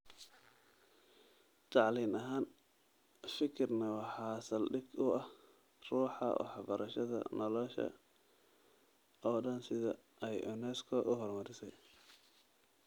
Tacliin ahaan, fikirkan waxa saldhig u ah ruuxa waxbarashada nolosha oo dhan sida ay UNESCO u horumarisay.